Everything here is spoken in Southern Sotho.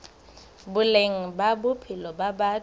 boleng ba bophelo ba batho